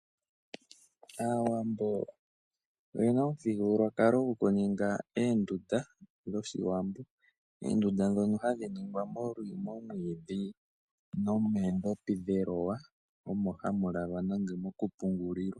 Aawambo oye na omuthigululwakalo gwoku ninga oondunda dhOshiwambo, oondunda dhono hadhi ningwa nomwiidhi nomoondhopi dheloya omo hamu lalwa nenge mokupungulilwa.